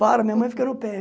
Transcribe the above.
Para, minha mãe fica no pé.